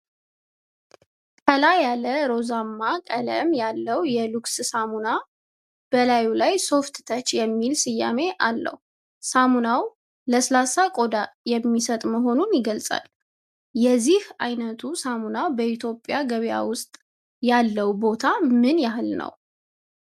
ቀላ ያለ ሮዝማ ቀለም ያለው የሉክስ ሳሙና፣ በላዩ ላይ "Soft Touch" የሚል ስያሜ አለው። ሳሙናው ለስላሳ ቆዳ የሚሰጥ መሆኑን ይገልጻል። የዚህ ዓይነቱ ሳሙና በኢትዮጵያ ገበያ ውስጥ ያለው ቦታ ምን ያህል ነው?